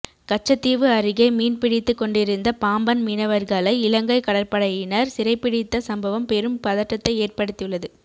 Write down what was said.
கச்சத்தீவு அருகே மீன்பிடித்துக் கொன்டிருந்த பாம்பன் மீனவர்களை இலங்கை கடற்படையினர் சிறைபிடித்த சம்பவம் பெரும் பதட்டத்தை ஏற்படுத்தியுள்ளது